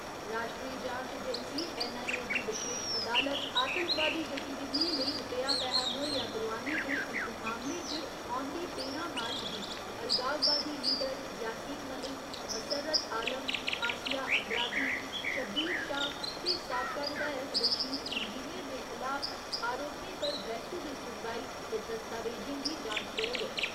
राश्ट्री जांच agency NIA दी बशेश अदालत, आतंकवादी गतिविधियें लेई रपेआ पैहा मुहैया करोआने दे इक मामले च औंदी तेरां मार्च गी अलगाववादी लीडर यासीन मलिक, मसर्रत आलम, आसिया अंद्राबी, शब्बीर शाह ते साबका विधायक रशीद इंजीनियर दे खलाफ आरोपें पर बैह्‌सू दी सुनवाई ते दस्तावेजें दी जांच करग।